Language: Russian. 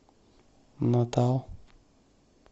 натал